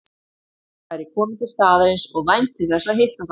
Vestmann væri kominn til staðarins og vænti þess að hitta þá